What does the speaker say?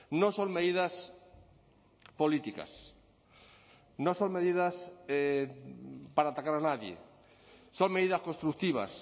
no son medidas políticas no son medidas para atacar a nadie son medidas constructivas